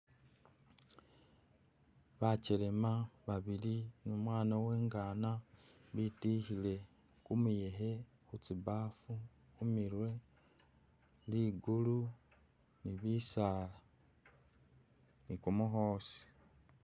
Bakyelema babili ne umwana uwe'ngana bitikhile kumuyekhe khutsibaafu khumirwe, likulu ni'bisaala nikumukhosi